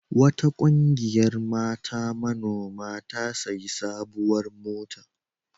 Wata ƙungiyar mata manoma ta sayi sabuwar mota.